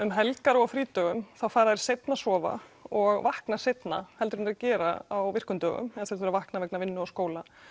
um helgar og á frídögum þá fara þeir seinna að sofa og vakna seinna heldur en að þeir gera á virkum dögum þegar þeir þurfa að vakna vegna vinnu og skóla